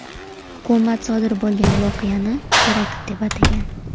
Hukumat sodiq bo‘lgan voqeani terakt deb atagan.